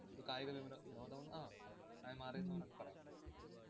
ഒരു കായികവിമനോ~ വിനോദമെന്ന് ആഹ് ആയി മാറിയെന്നു നമുക്ക് പറയാം.